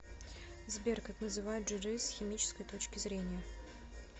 сбер как называют жиры с химической точки зрения